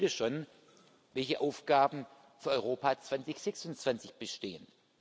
Wer weiß heute schon, welche Aufgaben für Europa 2026 bestehen?